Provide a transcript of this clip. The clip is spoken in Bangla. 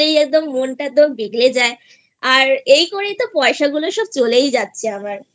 মনটা একদম বিগড়ে যায় আর এই করেই তো পয়সা গুলো চলেই যাচ্ছে আমারI